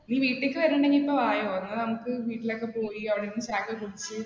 നീ വീട്ടിലേക്ക് വരുന്നുണ്ടെങ്കിൽ ഇപ്പ വായോ. എന്ന നമുക്ക് വീട്ടിൽ ഒക്കെ പോയി, അവിടുന്ന് ചായ കുടിച്ച്